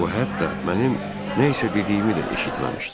O hətta mənim nə isə dediyimi də eşitməmişdi.